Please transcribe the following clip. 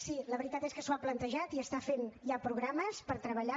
sí la veritat és que s’ho ha plantejat i està fent ja programes per treballar